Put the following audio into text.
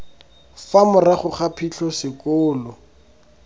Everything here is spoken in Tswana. fa morago ga phitlho sekolo